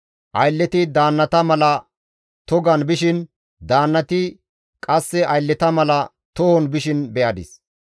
Aylleti daannata mala togan bishin daannati qasse aylleta mala tohon bishin be7adis.